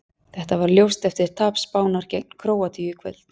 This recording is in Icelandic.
Þetta varð ljóst eftir tap Spánar gegn Króatíu í kvöld.